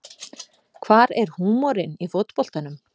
Hvar er húmorinn í fótboltanum